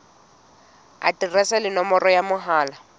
aterese le nomoro ya mohala